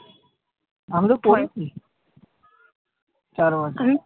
আমি তো পড়েছি চার বছর।